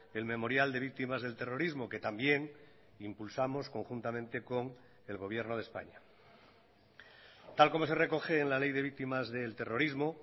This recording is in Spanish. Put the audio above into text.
el memorial de víctimas del terrorismo que también impulsamos conjuntamente con el gobierno de españa tal como se recoge en la ley de víctimas del terrorismo